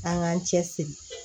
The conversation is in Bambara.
An k'an cɛ siri